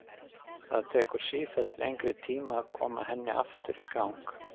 Það tekur sífellt lengri tíma að koma henni aftur í gang.